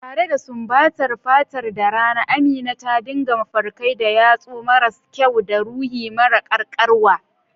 Tare da sumbatar fatarta da rana, Amina ta dinka mafarkai da yatsu maras kyau da ruhi mara karkarwa.